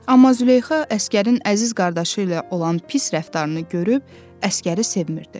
Amma Züleyxa əsgərin əziz qardaşı ilə olan pis rəftarını görüb əsgəri sevmirdi.